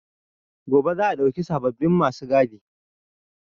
Gobe za a ɗauki sababbin ma su gadi.